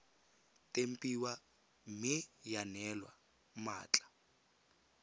tempiwa mme ya neelwa mmatla